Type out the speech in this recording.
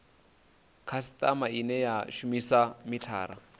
khasitama ine ya shumisa mithara